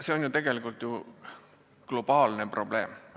See on ju tegelikult globaalne probleem.